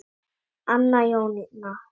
Anna Jónína.